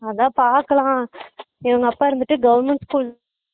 அதான் பாக்கலாம் இவங்க அப்பா இருந்துட்டு government school